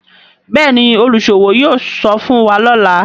Béèni oluṣowo yóò sọfún wá lọla.